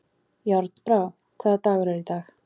Járnbrá, hvaða dagur er í dag?